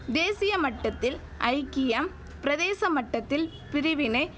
தேசிய மட்டத்தில் ஐக்கியம் பிரதேச மட்டத்தில் பிரிவினை